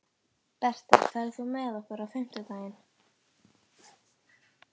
Bertel, ferð þú með okkur á fimmtudaginn?